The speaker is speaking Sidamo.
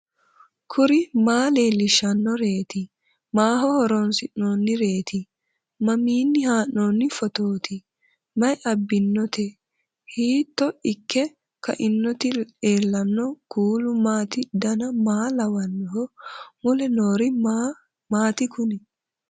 kuri maa leellishannoreeti maaho horoonsi'noonnireeti mamiinni haa'noonni phootooti mayi abbinoote hiito ikke kainote ellannohu kuulu maati dan maa lawannoho mule noori maati kuni